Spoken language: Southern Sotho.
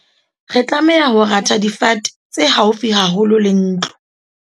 re tlameha ho ratha difate tse haufi haholo le ntlo